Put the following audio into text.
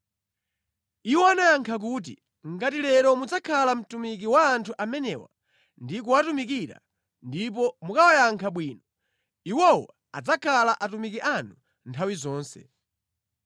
Iwo anayankha kuti, “Ngati lero mudzakhala mtumiki wa anthu amenewa ndi kuwatumikira ndipo mukawayankha bwino, iwowo adzakhala atumiki anu nthawi zonse.”